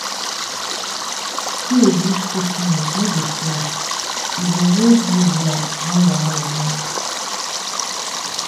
save reach six months no dey slack. e go hold you well when wahala knack.